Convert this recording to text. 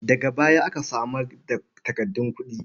Daga baya aka samar da takardun kuɗi.